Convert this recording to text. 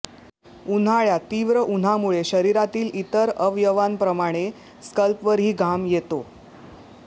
उन्हाळ्यात तीव्र उन्हामुळे शरीरातील इतर अवयवांप्रमाणे स्कल्पवरही घाम येतो